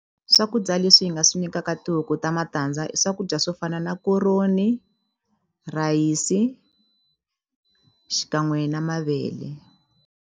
Swakudya leswi hi nga swi nyikaka tihuku ta matandza i swakudya swo fana na koroni rhayisi xikan'we na mavele.